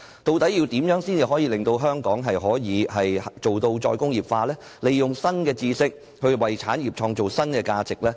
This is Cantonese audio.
究竟要怎樣做才可以令香港達致"再工業化"，利用新知識為產業創造新價值？